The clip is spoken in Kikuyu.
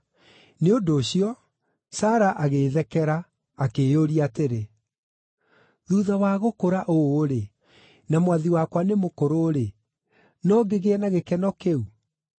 Nĩ ũndũ ũcio, Sara agĩĩthekera, akĩĩyũria atĩrĩ, “Thuutha wa gũkũra ũũ-rĩ, na mwathi wakwa nĩ mũkũrũ-rĩ, no ngĩgĩe na gĩkeno kĩu?”